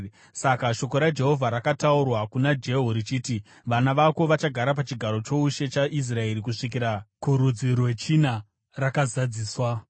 Saka shoko raJehovha rakataurwa kuna Jehu richiti, “Vana vako vachagara pachigaro choushe chaIsraeri kusvikira kurudzi rwechina,” rakazadziswa.